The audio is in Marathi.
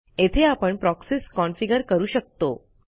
येथे आपणProxies कॉन्फिगर करू शकतो